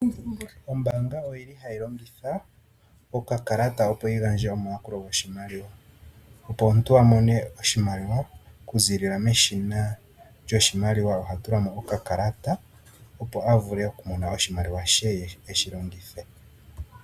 Ombaanga oyi li ha yi longitha okakalata opo yiigandje omayakulo goshimaliwa ,opo omuntu aamone oshimaliwa okuzilila meshina lyoshimaliwa oha tula mo okakalata opo avule okumona oshimaliwa she eshi longithe.